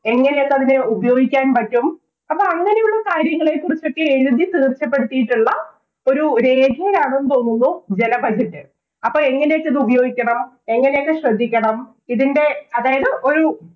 എങ്ങനെയൊക്കെ അതിനെ ഉപയോഗിക്കാന്‍ പറ്റും. അപ്പൊ അങ്ങനെയുള്ള കാര്യങ്ങളെ കുറിച്ചൊക്കെ എഴുതി തീര്‍ച്ചപ്പെടുത്തിയിട്ടുള്ള ഒരു രേഖയാണെന്ന് തോന്നുന്നു ജല budget അപ്പൊ എങ്ങനെയൊക്കെ അത് ഉപയോഗിക്കണം, എങ്ങനെയൊക്കെ ശ്രദ്ധിക്കണം. ഇതിന്‍റെ അതായത് ഒരു